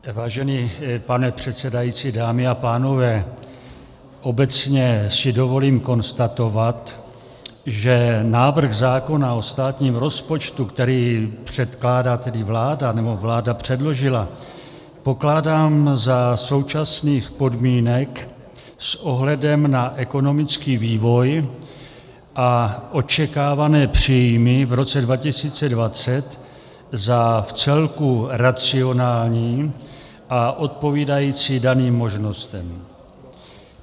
Vážený pane předsedající, dámy a pánové, obecně si dovolím konstatovat, že návrh zákona o státním rozpočtu, který předkládá tedy vláda, nebo vláda předložila, pokládám za současných podmínek s ohledem na ekonomický vývoj a očekávané příjmy v roce 2020 za vcelku racionální a odpovídající daným možnostem.